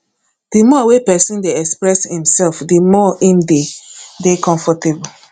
di more wey person dey express im self di more im de dey comfortable